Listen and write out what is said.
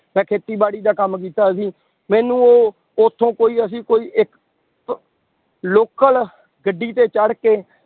ਮੈਂ ਖੇਤੀਬਾੜੀ ਦਾ ਕੰਮ ਕੀਤਾ ਹੋਇਆ ਸੀ, ਮੈਨੂੰ ਉਹ ਉੱਥੋਂ ਕੋਈ ਅਸੀਂ ਕੋਈ ਇੱਕ local ਗੱਡੀ ਤੇ ਚੜ੍ਹ ਕੇ